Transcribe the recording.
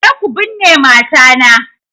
Je ku binne mata na!